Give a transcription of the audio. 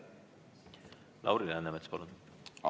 Lauri Läänemets, palun!